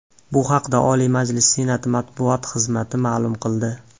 Bu haqda Oliy Majlis Senati matbuot xizmati ma’lum qildi .